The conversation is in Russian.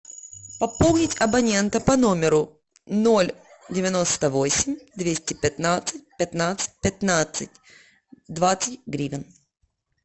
пополнить абонента по номеру ноль девяносто восемь двести пятнадцать пятнадцать пятнадцать двадцать гривен